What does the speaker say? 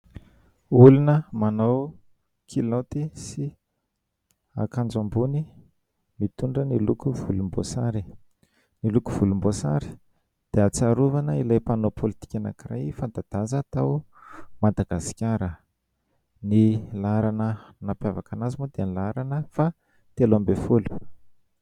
Olona manao kilaoty sy akanjo ambony mitondra ny loko volomboasary. Ny loko volomboasary dia tsarovana ilay mpanao pôlitika anankiray fanta-daza tao Madagasikara ; ny laharana nampiavaka an'azy moa dia ny laharana fahatelo ambin'ny folo.